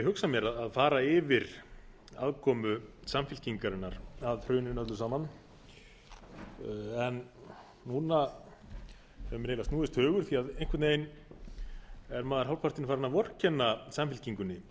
hugsað mér að fara yfir aðkomu samfylkingarinnar að hruninu öllu saman en núna hefur mér snúist hugur því að einhvern veginn er maður hálfpartinn farinn að vorkenna samfylkingunni